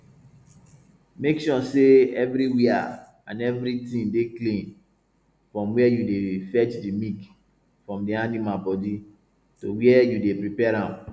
make sure sey evriwia an evritin dey clean from wen yu dey fetch di milk from di animal bodi to wen yu dey prepare am